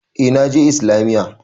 Eh na je Islamiyya.